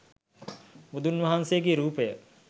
බුදුන් වහන්සේගේ රූපය